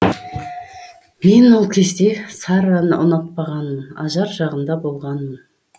мен ол кезде сарраны ұнатпағанмын ажар жағында болғанмын